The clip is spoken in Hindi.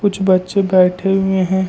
कुछ बच्चे बैठे हुए हैं।